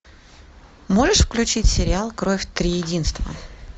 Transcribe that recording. можешь включить сериал кровь триединства